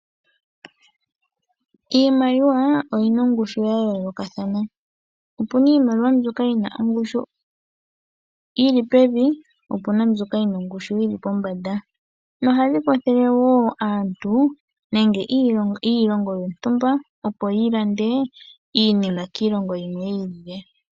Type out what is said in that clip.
Iimaliwa oyina ongushu ya yoolokathana opuna iimaliwa mbyoka yina ongushu yili pevi po opina mbyoka yina ongushu yili pombanda, ohayi kwathele aantu nenge iilongo yontumba opo yi lande iinima kiilongo yimwe yi ilile.